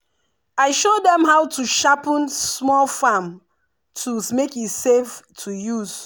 i show dem how to sharpen small farm tools make e safe to use.